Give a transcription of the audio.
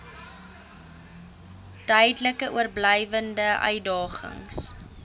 duidelik oorblywende uitdagings